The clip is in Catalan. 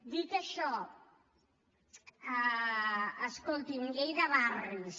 dit això escolti’m llei de barris